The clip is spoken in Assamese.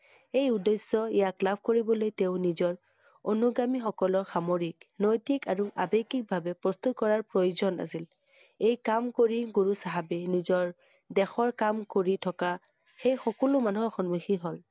এই উদ্দেশ্য, ইয়াক লাভ কৰিবলৈ তেওঁ নিজৰ অনুগামীসকলক সামৰি, নৈতিক আৰু আৱেগিকভাবে প্ৰস্তুত কৰাৰ প্ৰয়োজন আছিল। এই কাম কৰি গুৰু চাহাবে নিজৰ দেশৰ কাম কৰি থকা সেই সকলো মানুহৰ সন্মুখীন হ'ল